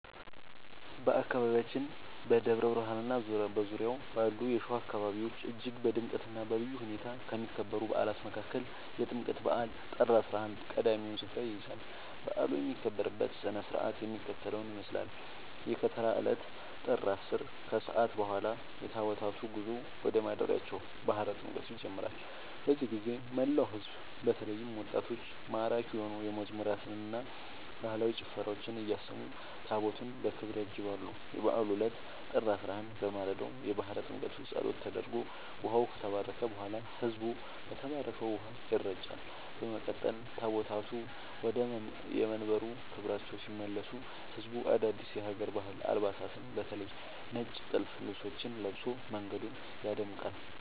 በአካባቢያችን በደብረ ብርሃንና በዙሪያው ባሉ የሸዋ አካባቢዎች እጅግ በድምቀትና በልዩ ሁኔታ ከሚከበሩ በዓላት መካከል የጥምቀት በዓል (ጥር 11) ቀዳሚውን ስፍራ ይይዛል። በዓሉ የሚከበርበት ሥነ ሥርዓት የሚከተለውን ይመስላል፦ የከተራ ዕለት (ጥር 10)፦ ከሰዓት በኋላ የታቦታቱ ጉዞ ወደ ማደሪያቸው (ባሕረ ጥምቀቱ) ይጀምራል። በዚህ ጊዜ መላው ሕዝብ በተለይም ወጣቶች ማራኪ የሆኑ መዝሙራትንና ባህላዊ ጭፈራዎችን እያሰሙ ታቦታቱን በክብር ያጅባሉ። የበዓሉ ዕለት (ጥር 11)፦ በማለዳው የባሕረ ጥምቀቱ ጸሎት ተደርጎ ውኃው ከተባረከ በኋላ፣ ሕዝቡ በተባረከው ውኃ ይረጫል። በመቀጠል ታቦታቱ ወደየመንበረ ክብራቸው ሲመለሱ ሕዝቡ አዳዲስ የሀገር ባህል አልባሳትን (በተለይ ነጭ ጥልፍ ልብሶችን) ለብሶ መንገዱን ያደምቃል።